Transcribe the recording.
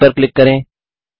play पर click करें